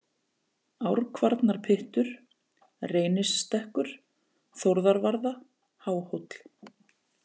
Árkvarnarpyttur, Reynisstekkur, Þórðarvarða, Háhóll